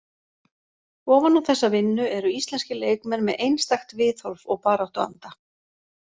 Ofan á þessa vinnu eru íslenskir leikmenn með einstakt viðhorf og baráttuanda.